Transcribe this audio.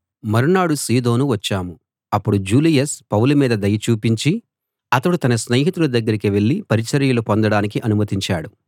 మరునాడు సీదోను వచ్చాం అప్పుడు జూలియస్ పౌలు మీద దయ చూపించి అతడు తన స్నేహితుల దగ్గరికి వెళ్ళి పరిచర్యలు పొందడానికి అనుమతించాడు